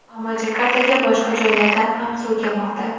ammo Jakartaga boshqa joylardan ham suv kelmoqda.